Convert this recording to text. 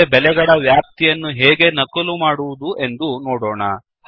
ಮುಂದೆ ಬೆಲೆಗಳ ವ್ಯಾಪ್ತಿಯನ್ನು ಹೇಗೆ ನಕಲು ಮಾಡುವುದು ಎಂದು ನೋಡೋಣ